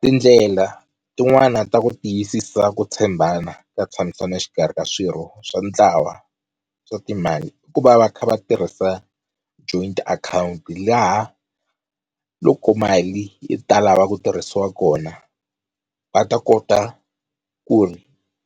Tindlela tin'wana ta ku tiyisisa ku tshembana ka ntshamisano exikarhi ka swirho swa ntlawa swa timali i ku va va kha va tirhisa joint account laha loko mali yi ta lava ku tirhisiwa kona va ta kota ku ri